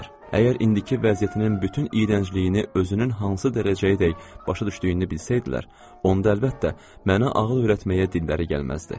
Əgər indiki vəziyyətinin bütün iyrəncliyini özünün hansı dərəcəyədək başa düşdüyünü bilsəydilər, onda əlbəttə, mənə ağıl öyrətməyə dilləri gəlməzdi.